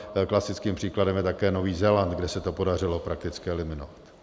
Klasickým příkladem je také Nový Zéland, kde se to podařilo prakticky eliminovat.